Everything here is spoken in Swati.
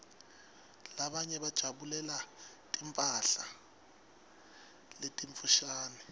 labanye bajabulela timphala letimfushane